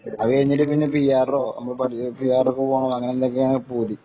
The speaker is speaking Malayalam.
അത് കഴിഞ്ഞിട്ട് പിആര്‍ഓ പോകണം എന്നൊക്കെയാണ് പൂതി